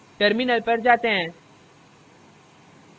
terminal पर आते हैं